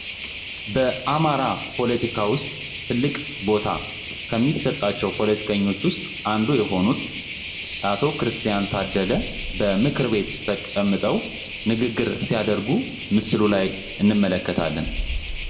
በአማራ ፖለቲካ ውስጥ ትልቅ ቦታ ከሚሰጣቸው ፖለቲከኞች ውስጥ አንዱ የሆኑት አቶ ክርስቲያን ታደለ በምክር ቤት ተቀምጠው ንግግር ሲያደርጉ ምስሉ ላይ እንመለከታልን።